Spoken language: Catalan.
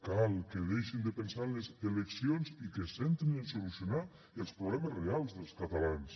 cal que deixin de pensar en les eleccions i que es centrin en solucionar els problemes reals dels catalans